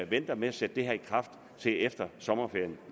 venter med at sætte det her i kraft til efter sommerferien